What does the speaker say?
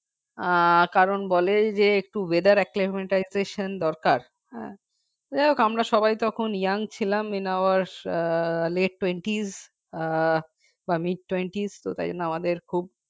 আহ কারণ বলে যে একটু weather alimentation দরকার অ্যাঁ যাই হোক আমরা সবাই তখন young ছিলাম বয়স আহ let twenties আহ বা mid twenties তাই জন্য আমাদের খুব